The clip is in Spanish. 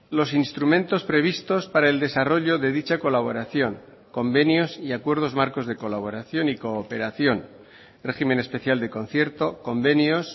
los instrumentos previstos para el desarrollo de dicha colaboración convenios y acuerdos marcos de colaboración y cooperación régimen especial de concierto convenios